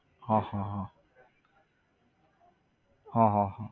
હા હા હા હા હા હા